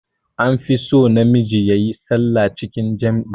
An fi son na miji yayi sallah cikin jam'i